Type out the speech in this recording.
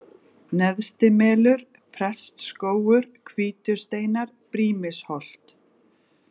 Neðstimelur, Prestsskógur, Hvítusteinar, Brýmisholt